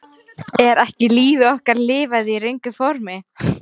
Er ekki lífi okkar lifað í röngu formi?